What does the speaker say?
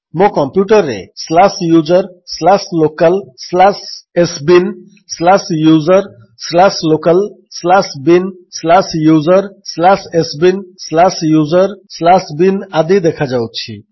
ମୋ କମ୍ପ୍ୟୁଟର୍ରେ slash user slash local slash sbin slash user slash local slash bin slash user slash sbin slash user slash bin ଆଦି ଦେଖାଉଛି